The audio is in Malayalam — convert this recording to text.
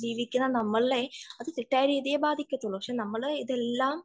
പക്ഷെ നമ്മളെ ഇതെല്ലാം ജീവിക്കാൻ തെറ്റായി രീതിയെ ബാധിക്കുള്ളൂ